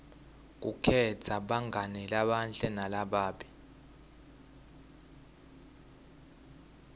kukhetsa bangani labahle nalababi